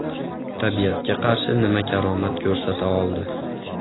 Tabiatga qarshi nima karomat ko‘rsata oldi?